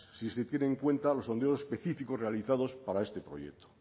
si se tienen en cuenta los sondeos específicos realizados para este proyecto